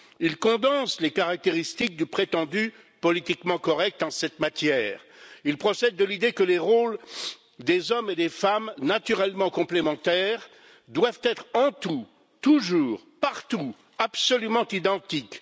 Il condense les caractéristiques du prétendu politiquement correct en cette matière. Il procède de l'idée que les rôles des hommes et des femmes, naturellement complémentaires, doivent être en tout, toujours, partout, absolument identiques.